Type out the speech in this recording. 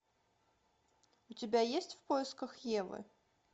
у тебя есть в поисках евы